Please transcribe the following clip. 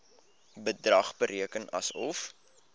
bedrag bereken asof